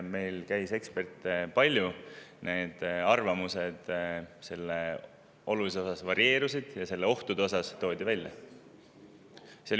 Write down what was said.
Meil käis palju eksperte, nende arvamused olulises osas, just ohtude osas, varieerusid.